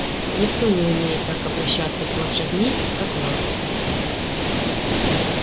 никто не умеет так обращаться с лошадьми как ма